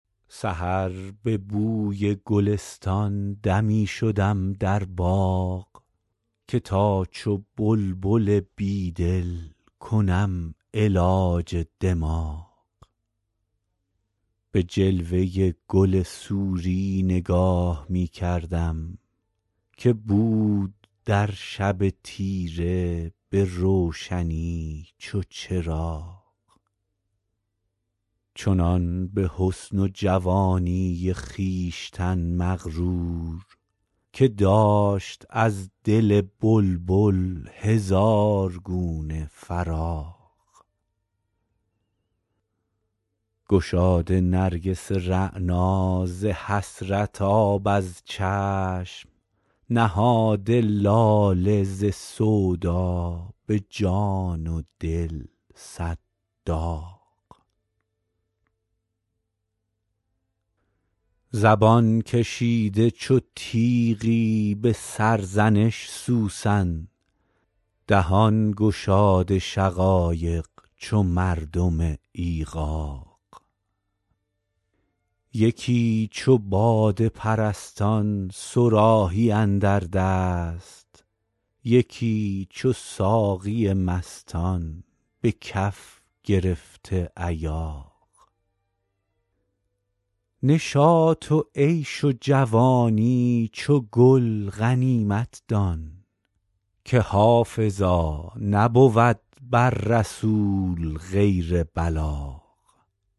سحر به بوی گلستان دمی شدم در باغ که تا چو بلبل بیدل کنم علاج دماغ به جلوه گل سوری نگاه می کردم که بود در شب تیره به روشنی چو چراغ چنان به حسن و جوانی خویشتن مغرور که داشت از دل بلبل هزار گونه فراغ گشاده نرگس رعنا ز حسرت آب از چشم نهاده لاله ز سودا به جان و دل صد داغ زبان کشیده چو تیغی به سرزنش سوسن دهان گشاده شقایق چو مردم ایغاغ یکی چو باده پرستان صراحی اندر دست یکی چو ساقی مستان به کف گرفته ایاغ نشاط و عیش و جوانی چو گل غنیمت دان که حافظا نبود بر رسول غیر بلاغ